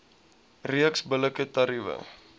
reeks billike tariewe